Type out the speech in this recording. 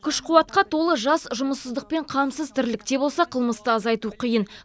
күш қуатқа толы жас жұмыссыздық пен қамсыз тірлікте болса қылмысты азайту қиын